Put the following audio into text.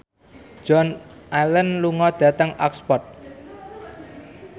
Joan Allen lunga dhateng Oxford